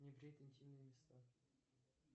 не брить интимные места